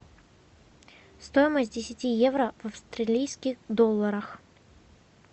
стоимость десяти евро в австралийских долларах